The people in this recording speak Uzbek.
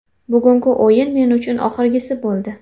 Bugungi o‘yin men uchun oxirgisi bo‘ldi.